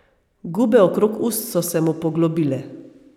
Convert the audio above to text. Gube okrog ust so se mu poglobile.